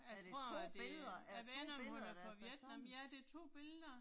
Jeg tror det, jeg ved ikke om hun er fra Vietnam. Ja det er 2 billeder